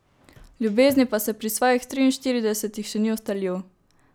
V ljubezni pa se pri svojih triinštiridesetih še ni ustalil.